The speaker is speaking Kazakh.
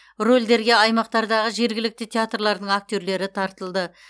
рөлдерге аймақтардағы жергілікті театрлардың актерлері тартылды